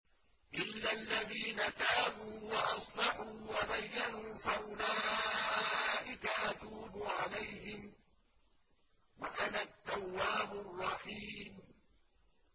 إِلَّا الَّذِينَ تَابُوا وَأَصْلَحُوا وَبَيَّنُوا فَأُولَٰئِكَ أَتُوبُ عَلَيْهِمْ ۚ وَأَنَا التَّوَّابُ الرَّحِيمُ